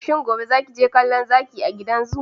Shin gobe zaki je kallo Zaki a gidan zoo?